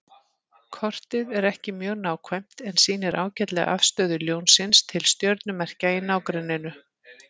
Kortið er ekki mjög nákvæmt en sýnir ágætlega afstöðu Ljónsins til stjörnumerkja í nágrenninu.